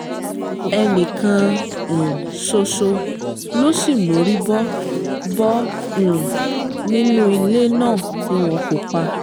ẹnì kan um ṣoṣo ló sì mórí bọ́ bọ́ um nínú ilé náà tí wọ́n kó pa